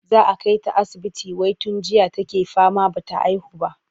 Za a kai ta asibiti wai tun jiya take fama ba ta haihu ba.